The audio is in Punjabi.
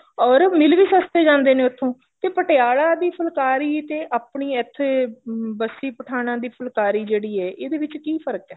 or ਮਿਲ ਵੀ ਸਸਤੇ ਜਾਂਦੇ ਨੇ ਉੱਥੋਂ ਤੇ ਪਟਿਆਲਾ ਦੀ ਫੁਲਕਾਰੀ ਤੇ ਆਪਣੀ ਇੱਥੇ ਬਸੀ ਪਠਾਣਾ ਦੀ ਫੁਲਕਾਰੀ ਜਿਹੜੀ ਹੈ ਇਦੇ ਵਿੱਚ ਕਿ ਫਰਕ਼ ਹੈ